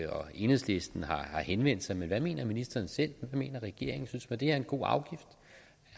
og enhedslisten har henvendt sig men hvad mener ministeren selv og hvad mener regeringen synes man at det er en god afgift